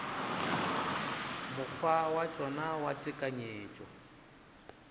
mokgwa wa tšona wa tekanyetšo